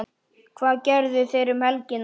Hvað gerðu þeir um helgina?